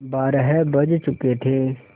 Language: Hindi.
बारह बज चुके थे